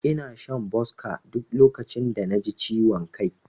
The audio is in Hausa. Ina shan Boska duk lokacin da naji ciwon kai.